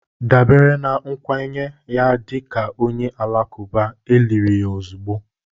dabere na nkwenye ya dị ka onye Alakụba, e liri ya ozugbo